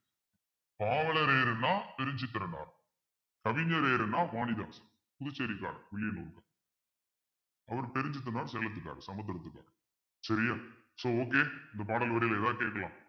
பாவலரேறுன்னா கவிஞரேறுன்னா வாணிதாசன் புதுச்சேரிகார் வில்லியனூர் அவர் தெரிஞ்சுக்கணும் செலுத்திட்டாரு சமுத்திரத்துக்கு சரியா so okay இந்த பாடல் வரியில ஏதாவது கேட்கலாம்